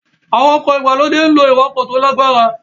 Àwọn ọkọ̀ ìgbàlódé ń lo ìwakò tó lágbára